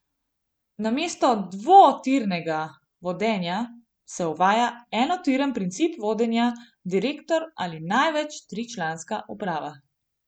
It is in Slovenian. Namesto dvotirnega vodenja se uvaja enotiren princip vodenja, direktor ali največ tričlanska uprava.